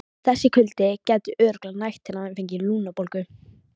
Þessi kuldi gæti örugglega nægt til að hann fengi lungnabólgu.